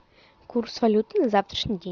курс валют на завтрашний день